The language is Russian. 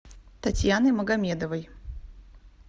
татьяны магомедовой